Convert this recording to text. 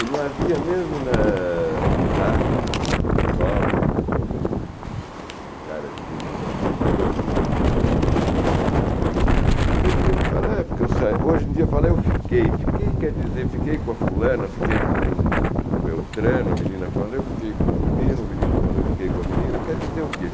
E não havia mesmo, né, já como um jovem, como um cara de vinte e tantos anos aqui em São Paulo, tem menino que fala, é porque eu sa, hoje em dia, fala eu fiquei, fiquei quer dizer, fiquei com a fulana, fiquei com com Beltrana, a menina fala eu fiquei com o menino, o menino falou, eu fiquei com a menina, quer dizer o quê?